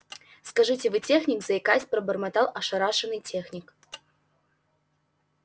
скажите вы техник заикаясь пробормотал ошарашенный техник